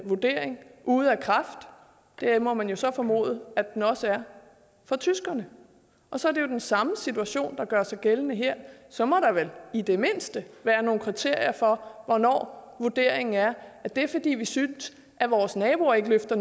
vurdering er ude af kraft det må man så formode at den også er for tyskerne og så er det jo den samme situation der gør sig gældende her så må der vel i det mindste være nogle kriterier for hvornår det vurderingen er det fordi vi synes at vores naboer ikke løfter